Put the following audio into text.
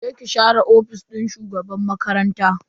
Je ki ki share ofishin shugaban makarantan.